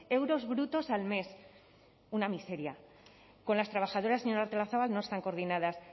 euros brutos al mes una miseria con las trabajadoras señora artolazabal no están coordinadas